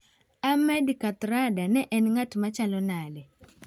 Ahmed Kathrada ne en ng'at machalo nade?